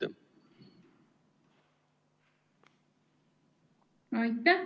Aitäh!